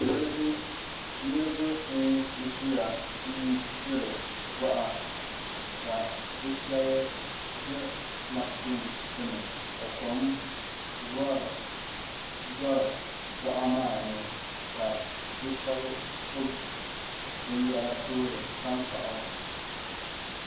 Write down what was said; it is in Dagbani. Niraba n kuriya n gbiri boɣa ka bi shab ʒɛ mashini gbuni ka kom vori boɣa maa ni ka bi shab gbubi binyɛra toori tankpaɣu